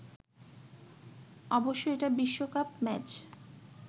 অবশ্যই এটা বিশ্বকাপ ম্যাচ